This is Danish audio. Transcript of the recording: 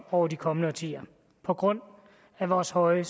over de kommende årtier på grund af vores høje